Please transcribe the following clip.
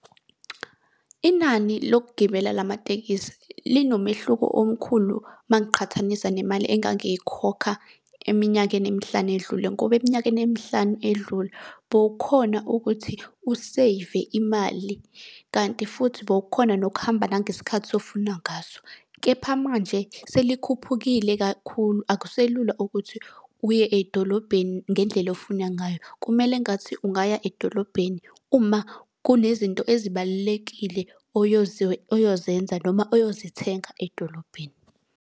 Inani lokugibela lamatekisi linomehluko omkhulu uma ngiqhathanisa nemali engangikhokha eminyakeni emihlanu edlule ngoba eminyakeni emihlanu edlule bowukhona ukuthi useyive imali. Kanti futhi bowukhona nokuhamba nangesikhathi ofuna ngaso. Kepha manje selikhuphukile kakhulu, akuselula ukuthi uye edolobheni ngendlela ofuna ngayo. Kumele ngathi ungaya edolobheni uma kunezinto ezibalulekile oyozenza noma oyozithenga edolobheni.